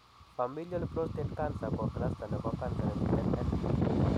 Familial prostate cancer ko cluster nebo cancer nemiten en